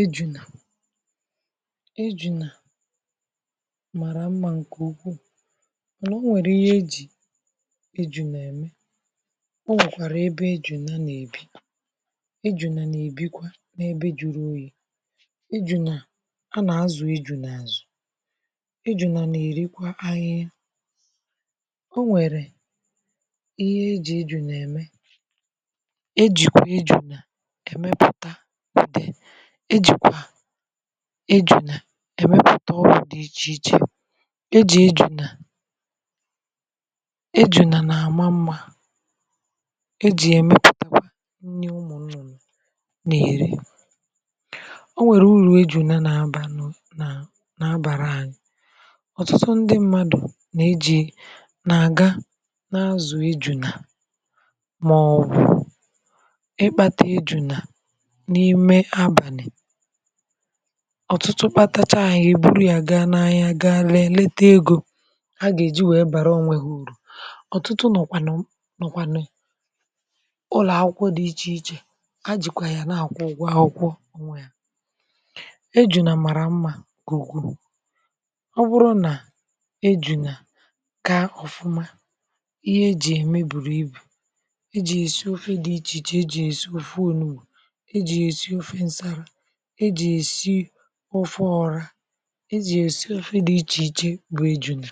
ejunà, ejunà mara mmȧ ǹkè ukwuù mànà o nwèrè ihe ejì ejunà ème o nwèkwàrà ebe ejùna nà-èbi ejùna nà-èbikwa n’ebe juru oyì ejùnà a nà-azụ̀ ejùna azụ̀ ejùna nà-èrikwa ahihia o nwèrè ihe eji̇ ejùnà-ème ejìkwà ejùna èmepùta ude ejìkwà ejuna èmepụ̀ta ọgwụ̇ dị̀ ichè ichè ejì ejuna ejuna nà-àma mmȧ ejì èmepụ̀takwa nni ụmụ̀ nnụ̀nụ̀ nà-èri ọ nwèrè uru̇ ejuna nà-abà na na-abàra ànyị ọ̀tụtụ ndị mmadụ̀ nà ejì nà-àga na-azụ̀ ejuna màọbụ̀ ịkpȧtà ejuna n'ime abani ọ̀tụtụ kpatachaa ya, ha eburu ya gaa n’ahịa gaa lee lete ego a gà-èji wèe bàrà onwe ha ùrù ọ̀tụtụ nọ̀kwànụ̀ nọ̀kwànụ̀ ụlọ̀ akwụkwọ dị ichè ichè a jìkwà ya na-àkwu ụgwọ àkwụkwọ onwe ha eju̇na mara mmȧ nke ukwu ọ bụrụ nà eju̇nà kaa ọ̀fụma ihe eji̇ ya ème bùrù ibù eji̇ èsi ofe dị ichè ichè eji̇ ya èsi òfe olubù, eji̇ ya èsi òfe nsala, eji̇ ya èsi òfe ọrà e ji esi ofe di iche iche bụ̀ ejùnà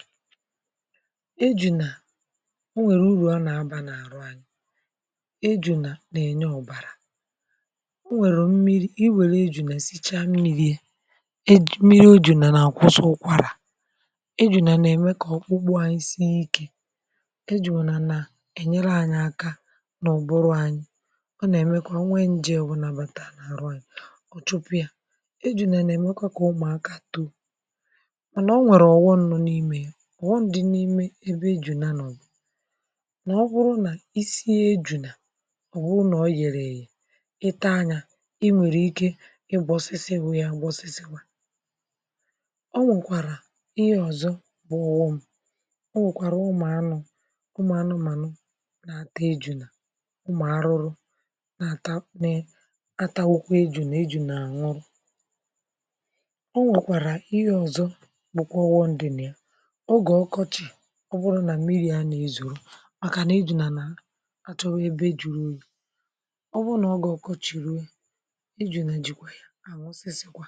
ejùnà o nwèrè uru a na-aba n’àrụ ànyị ejùnà na-enye ọ̀bàrà o nwèrè mmiri̇ i wère ejùnà esichaa mmiri̇ e mmiri ejùnà na-akwụsị ụkwụkwara ejùnà na-eme kà ọkpụkpụ anyi sii ikė ejùnà nà enyere anyị aka na ụbụrụ anyị o na emekwa onwe nje obuna bataa n'aru anyi o chupu ya ejunà na-emekwa kà ụmụ̀akȧ too mànà o nwèrè ọ̀wọ nọ n’imė ya ọ̀ghọm dị̇ n’ime ebe ejunà nọ̀ bu n’ọbụrụ nà isi ejunà ọ̀bụrụ nà o yèrè èyè ị taa anyȧ ị nwèrè ike ịgbọsịsị wụ yȧ gbọsịsịwa ọ nwèkwàrà ihe ọ̀zọ bụ̀ ọ̀ghọm ọ̀gwụ̀kwàrà ụmụ̀ anụ̇ ụmụ̀ anụmànụ na-àta ejunà ụmụ̀ arụrụ n'ata n'atawakwa ejuna, ejuna anwuru o nwèkwàrà ihe ọzọ bụkwa ọ̀ghọm dị nà ya oge ọkọchị ọ bụrụ nà mmịrị̇ a nàghi ezuru màkà nà ejùnà nà à chọwa ebe jùrù oyì ọ bụrụ nà oge ọkọchì ruo ejùna jìkwa yȧ ànwụsịsị̀kwa.